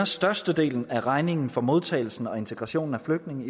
størstedelen af regningen for modtagelsen og integrationen af flygtninge